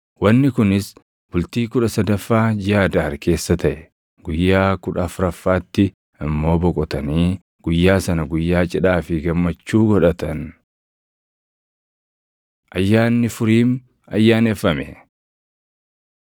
Wanni kunis bultii kudha sadaffaa jiʼa Adaar keessa taʼe; guyyaa kudha afuraffaatti immoo boqotanii guyyaa sana guyyaa cidhaa fi gammachuu godhatan. Ayyaanni Furiim Ayyaaneffame